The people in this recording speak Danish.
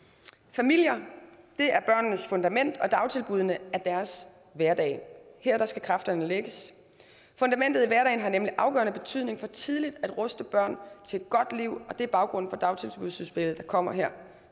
familier er børnenes fundament og dagtilbuddene er deres hverdag her skal kræfterne lægges fundamentet i hverdagen har nemlig afgørende betydning for tidligt at ruste børn til et godt liv og det er baggrunden for dagtilbudsudspillet der kommer her